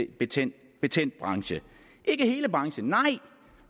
betændt betændt branche ikke hele branchen nej